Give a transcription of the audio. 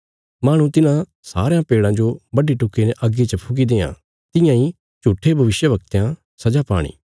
माहणु तिन्हां सारयां पेड़ां जो बड्डी टुक्की ने अग्गी च फुकी देआं तियां इ झूट्ठे भविष्यवक्तयां सजा पाणी